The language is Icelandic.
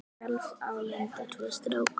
Sjálf á Linda tvo stráka.